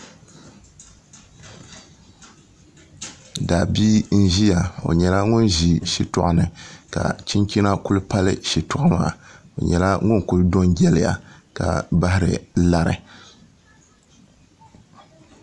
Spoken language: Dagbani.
Daabia n ʒiya o nyɛla ŋun ʒi shitoɣu ni ka chinchina ku pali shitoɣu maa o nyɛla ŋun ku do n jɛliya ka bahari lari